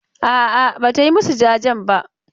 A'a, ba ta yi masu jajen ba.